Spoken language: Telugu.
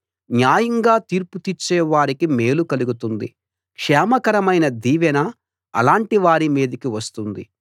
న్యాయంగా తీర్పు తీర్చే వారికి మేలు కలుగుతుంది క్షేమకరమైన దీవెన అలాంటి వారి మీదికి వస్తుంది